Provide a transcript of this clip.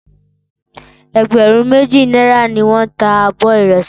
Ẹgbẹ̀rún méjì náírà ni wọ́n ń ta abọ ìrẹsì